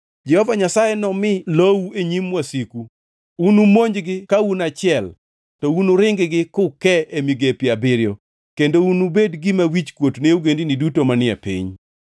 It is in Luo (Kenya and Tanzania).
Jehova Nyasaye nomi lou e nyim wasiku. Unumonjgi ka un e achiel, to unuring-gi kuke e migepe abiriyo, kendo unubed gima wichkuot ne ogendini duto manie piny.